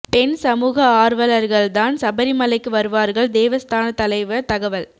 பெண் சமூக ஆர்வலர்கள் தான் சபரிமலைக்கு வருவார்கள் தேவஸ்தான தலைவர் தகவல்